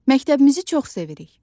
Məktəbimizi çox sevirik.